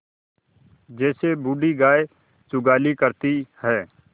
जैसे बूढ़ी गाय जुगाली करती है